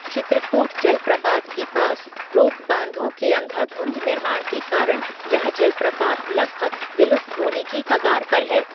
चित्रकूट जलप्रपात के पास रोकबाँधों के अंधाधुंध निर्माण के कारण यह जलप्रपात लगभग विलुप्त होने की कगार पर है।